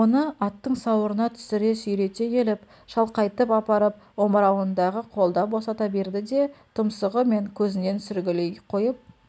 оны аттың сауырына түсіре сүйрете келіп шалқайтып апарып омырауындағы қолды босата берді де тұмсығы мен көзінен сүргілей қойып